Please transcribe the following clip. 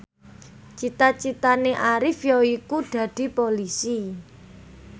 cita citane Arif yaiku dadi Polisi